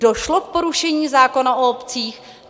Došlo k porušení zákona o obcích?